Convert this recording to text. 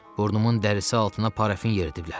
Burnumun dərisi altına parafin yeridiblər.